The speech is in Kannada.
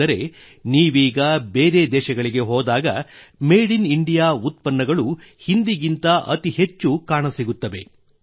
ಅಂದರೆ ನೀವೀಗ ಬೇರೆ ದೇಶಗಳಿಗೆ ಹೋದಾಗ ಮೇಡ್ ಇನ್ ಇಂಡಿಯಾ ಉತ್ಪನ್ನಗಳು ಹಿಂದಿಗಿಂತ ಅತಿ ಹೆಚ್ಚು ಕಾಣಸಿಗುತ್ತವೆ